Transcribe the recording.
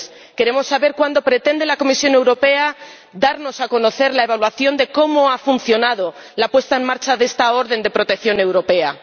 Queremos saber cuándo pretende la Comisión Europea darnos a conocer la evaluación de cómo ha funcionado la puesta en marcha de esta orden de protección europea.